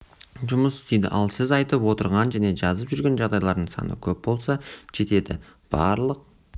жұмыс істейді ал сіз айтып отырған және жазып жүрген жағдайлардың саны көп болса жетеді барлық